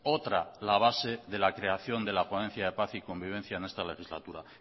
otra la base de la creación de la ponencia de paz y convivencia en esta legislatura